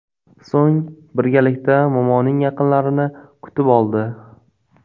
So‘ng birgalikda momoning yaqinlarini kutib oldi.